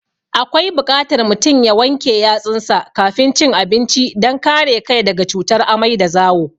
Akwai buƙatar mutum ya wanke yatsunsa kafin cin abinci don kare kai daga cutar amai da zawo.